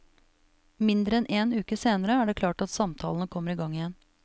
Mindre enn en uke senere er det klart at samtalene kommer i gang igjen.